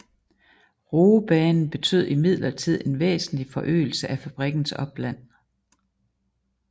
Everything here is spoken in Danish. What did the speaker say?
Roebanen betød imidlertid en væsentlig forøgelse af fabrikkens opland